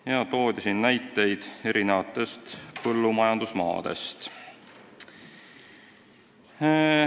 Meile toodi ka näiteid erinevatest põllumajandusmaadest.